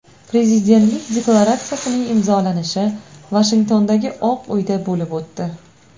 Prezidentlik deklaratsiyasining imzolanishi Vashingtondagi Oq uyda bo‘lib o‘tdi.